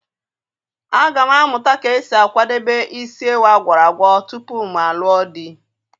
A ga m amụta ka esi akwadebe isi ewu a gwọrọ agwọ tupu m alụọ di.